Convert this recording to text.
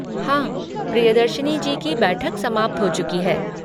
हाँ, प्रियदर्शिनी जी की बैठक समाप्त हो चुकी है।